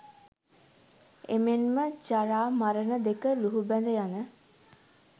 එමෙන්ම ජරා, මරණ දෙක ලුහුබැඳ යන